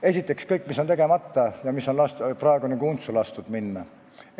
Esiteks kõigest sellest, mis on tegemata ja millel on lastud nagu untsu minna.